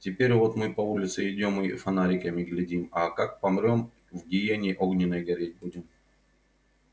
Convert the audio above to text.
теперь вот мы по улице идём и на фонарики глядим а как помрём в гиене огненной гореть будем